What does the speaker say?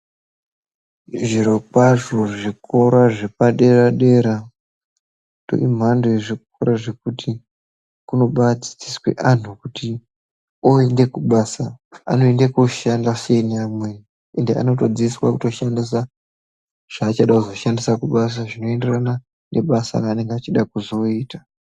Zvirokwazvo zvikora zvepadera-dera, pane mhando yezvikora zvekuti, kunobaadzidziswe anhu kuti oonde kubasa, anoende koshanda sei neamweni, ende anotodzidziswa kutoshandisa, zvaanoda kuzoshandisa kubasa , zvinoenderana nebasa reanenge achida kuzooita.